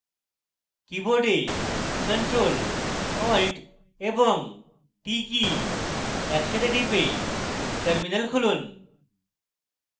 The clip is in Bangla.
keyboard ctrl + alt এবং t কী একসাথে টিপে terminal খুলুন